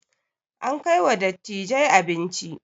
An kai wa dattijai abinci